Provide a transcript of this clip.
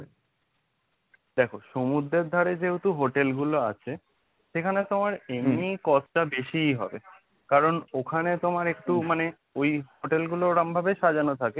দেখো সমুদ্রের ধারে যেহেতু hotel গুলো আছে সেখানে তোমার এমনি cost টা বেশিই হবে, কারণ ওখানে তোমার একটু মানে ওই hotel গুলো ওরম ভাবে সাজানো থাকে।